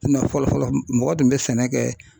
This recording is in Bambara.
fɔlɔ fɔlɔ mɔgɔ tun bɛ sɛnɛ kɛ